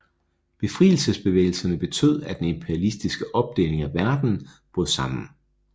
Befrielsesbevægelserne betød at den imperialistiske opdeling af verden brød sammen